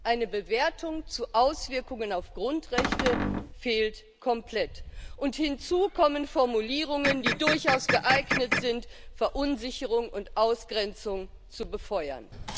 Eine Bewertung der Auswirkungen auf Grundrechte fehlt komplett, und hinzu kommen Formulierungen, die durchaus geeignet sind, Verunsicherung und Ausgrenzung zu befeuern.